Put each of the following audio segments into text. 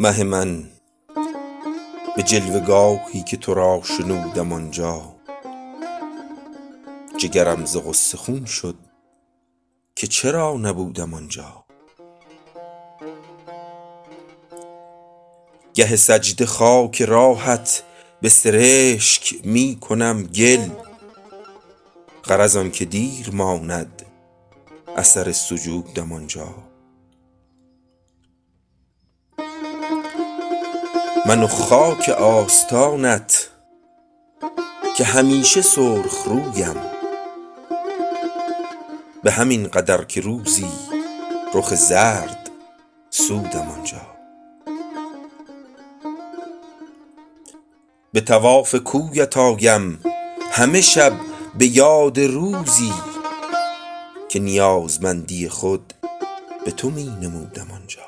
مه من بجلوه گاهی که ترا شنودم آنجا جگرم ز غصه خون شد که چرا نبودم آنجا گه سجده خاک راهت بسرشک می کنم گل غرض آنکه دیر ماند اثر سجودم آنجا من و خاک آستانت که همیشه سرخ رویم بهمین قدر که روزی رخ زرد سودم آنجا بطواف کویت آیم همه شب بیاد روزی که نیازمندی خود بتو می نمودم آنجا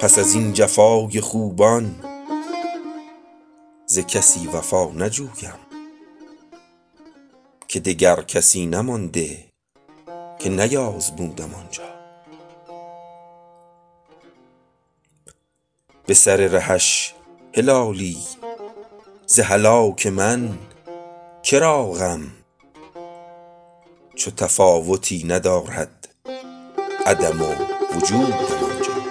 پس ازین جفای خوبان ز کسی وفا نجویم که دگر کسی نمانده که نیازمودم آنجا بسر رهش هلالی ز هلاک من کرا غم چو تفاوتی ندارد عدم و وجودم آنجا